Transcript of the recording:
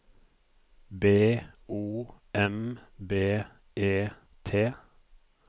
B O M B E T